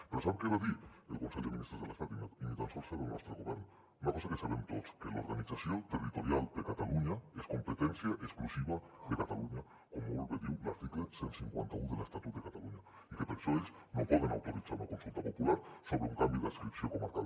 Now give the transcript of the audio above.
però sap què va dir el consell de ministres de l’estat i ni tan sols era el nostre govern una cosa que sabem tots que l’organització territorial de catalunya és competència exclusiva de catalunya com molt bé diu l’article cent i cinquanta un de l’estatut de catalunya i que per això ells no poden autoritzar una consulta popular sobre un canvi d’adscripció comarcal